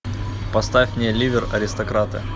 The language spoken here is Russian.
поставь мне ливер аристократы